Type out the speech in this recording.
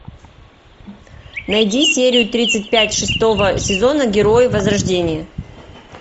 найди серию тридцать пять шестого сезона герои возрождения